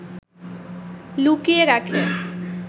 লুকিয়ে রাখে